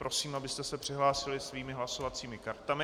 Prosím, abyste se přihlásili svými hlasovacími kartami.